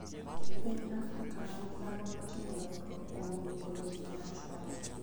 Piny Afrika ma Milambo notimo lokruok kuom duoko lope machon.